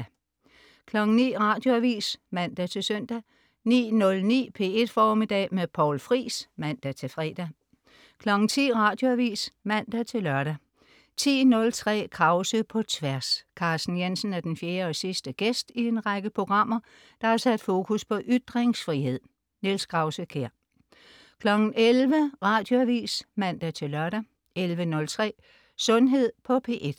09.00 Radioavis (man-søn) 09.09 P1 Formiddag med Poul Friis (man-fre) 10.00 Radioavis (man-lør) 10.03 Krause på Tværs. Carsten Jensen er den fjerde og sidste gæst i en række programmer, der har sat fokus på ytringsfrihed. Niels Krause-Kjær 11.00 Radioavis (man-lør) 11.03 Sundhed på P1